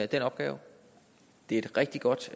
den opgave det er et rigtig godt